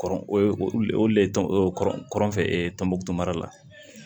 Kɔrɔ o ye olu le olu le tɔn tɔnbɔkutu mara